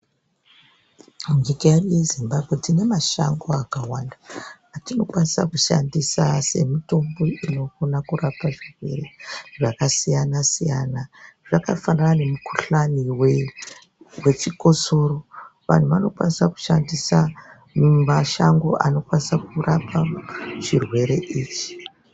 Nyika yedu yeZimbabwe tine mashango akawanda atinokwanisa kushandisa semitombo inokona kurapa zvirwere zvakasiyana siyana .Zvakafanana nemukhuhlane wechikosoro. Vantu vanokwanisa kushandisa mashango anokwanisa kurapa chirwere ichi.